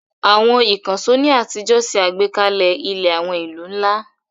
Àwọn ìkànṣó ní àtijọ́ ṣe àgbékalẹ̀ ilẹ̀ àwọn ìlú ńlá.